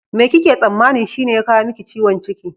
Me kike tsammanin shine ya kawo miki ciwon ciki?